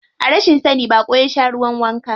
A rashin sani baƙo ya sha ruwan wanka.